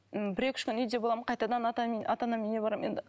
м бір екі үш күн үйде боламын қайтадан ата анамның үйіне барамын енді